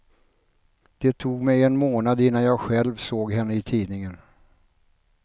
Det tog mig en månad innan jag själv såg henne i tidningen.